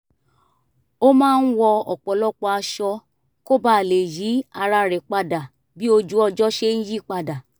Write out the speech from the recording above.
ó máa ń wọ ọ̀pọ̀lọpọ̀ aṣọ kó ba lè yí ara rẹ̀ padà bí ojú ọjọ́ ṣe ń yípadà